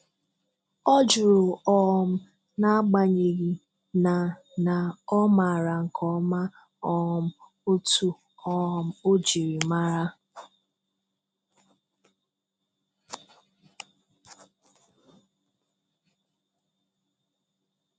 Ọ jụrụ, um n'agbanyeghị, na na ọ maara nke ọma um otú um o jiri maara.